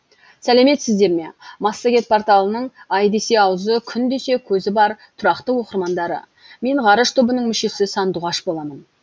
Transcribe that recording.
сәлеметсіздерме массагет порталының ай десе аузы күн десе көзі бар тұрақты оқырмандары мен ғарыш тобының мүшесі сандуғаш боламын